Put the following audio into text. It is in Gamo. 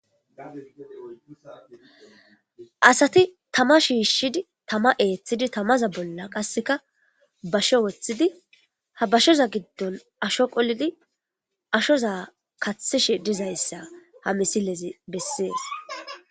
Asati tama shiishshidi tama eeththidi tamaza bolla qasseka basho woththidi ha bashoza giddon asho qolidi ashoza kathishe dizayssa ha misilezi bessees.